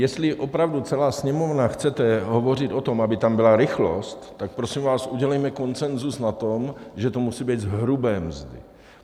Jestli opravdu celá Sněmovna chcete hovořit o tom, aby tam byla rychlost, tak prosím vás, udělejme konsenzus v tom, že to musí být z hrubé mzdy.